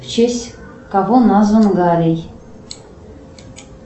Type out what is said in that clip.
в честь кого назван галей